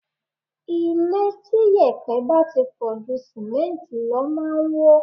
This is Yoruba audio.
Ilé tí yèpẹ̀ bá ti pọ̀ ju Símẹ́ǹtì lọ máa ń wó.